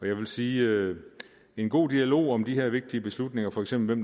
vil sige at en god dialog om de her vigtige beslutninger for eksempel